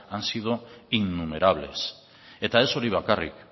han sido innumerables eta ez hori bakarrik